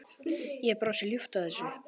Ég brosi ljúft að þessu.